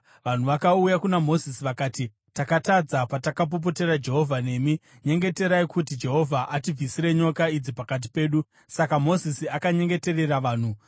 Vanhu vakauya kuna Mozisi vakati, “Takatadza, patakapopotera Jehovha nemi. Nyengeterai kuti Jehovha atibvisire nyoka idzi pakati pedu.” Saka Mozisi akanyengeterera vanhu.